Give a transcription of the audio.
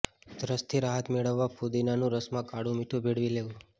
ઉધરસથી રાહત મેળવવા ફૂદીનાના રસમાં કાળું મીઠુ ભેળવી લેવું